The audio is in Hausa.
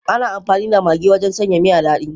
Ana amfani da Maggi wajen sanya miya dadi.